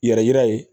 Yɛrɛ yira ye